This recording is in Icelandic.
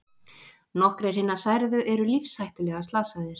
Nokkrir hinna særðu eru lífshættulega slasaðir